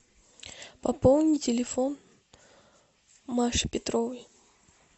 пополни телефон маши петровой